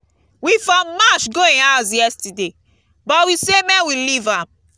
we for march go im house yesterday but we say make we leave am